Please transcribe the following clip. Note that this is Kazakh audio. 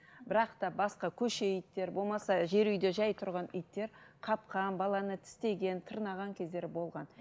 бірақ та басқа көше иттер болмаса жер үйде жай тұрған иттер қапқан баланы тістеген тырнаған кездері болған